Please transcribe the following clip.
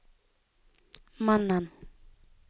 mannen